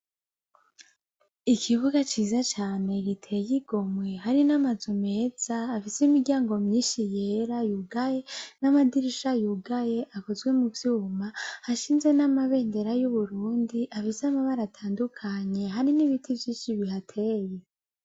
Ikibuga ciza cane giteye igomwe hari n'amazu meza afise imiryamgo myinshi yera yugaye, n'amadirisha yugaye akozwe muvyuma, hashinze n'amabendera y'uburundi afise amabara atandukanye, hari n'ibiti vyinshi bihateye.